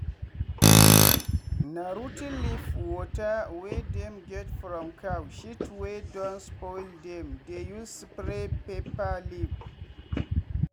na rot ten leaf water wey dem get from cow shit wey don spoil dem dey use spray pepper leaf.